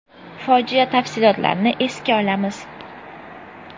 Fojia tafsilotlarini esga olamiz.